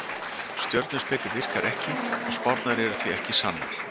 Stjörnuspeki virkar ekki og spárnar eru því ekki sannar.